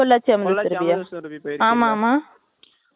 அதுல கீழையும் மேலையும் சேர்த்துனா எவ்ளோ பெருசு இருக்கும்